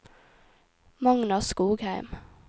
Magna Skogheim